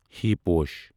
ہی پوٗش